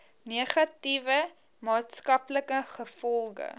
negatiewe maatskaplike gevolge